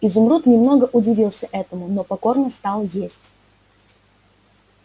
изумруд немного удивился этому но покорно стал есть